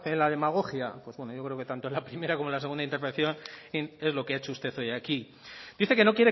la demagogia pues bueno yo creo que tanto en la primera como en la segunda intervención es lo que ha hecho usted hoy aquí dice que no